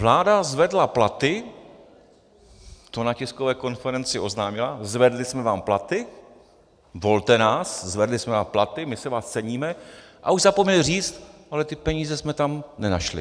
Vláda zvedla platy, to na tiskové konferenci oznámila - zvedli jsme vám platy, volte nás, zvedli jsme vám platy, my si vás ceníme - ale už zapomněli říct: Ale ty peníze jsme tam nenašli.